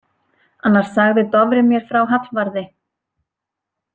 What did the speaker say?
Annars sagði Dofri mér frá Hallvarði.